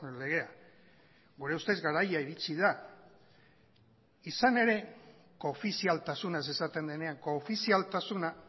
legea gure ustez garaia iritsi da izan ere koofizialtasunaz esaten denean koofizialtasuna